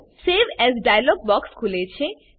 save as dialog box ખુલે છે